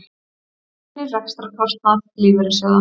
Gagnrýnir rekstrarkostnað lífeyrissjóða